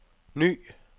ny